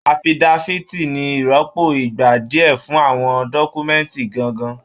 Afidafiti ní ìrọ́pò ìgbà díẹ fún àwọn dọkumẹ̀nti gángan.